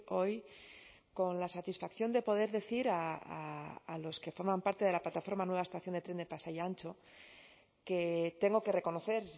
hoy con la satisfacción de poder decir a los que forman parte de la plataforma nueva estación de tren de pasai antxo que tengo que reconocer